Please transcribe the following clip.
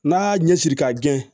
N'a y'a ɲɛsiri k'a gɛn